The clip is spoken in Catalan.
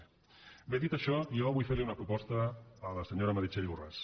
bé dit això jo vull fer li una proposta a la senyora meritxell borràs